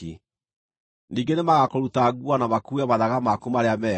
Ningĩ nĩmagakũruta nguo na makuue mathaga maku marĩa mega.